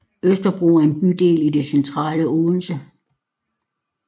Østerbro er en bydel i det centrale Odense